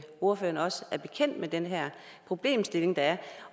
ordføreren også er bekendt med den her problemstilling der er